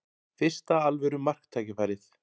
Fyrsta alvöru marktækifærið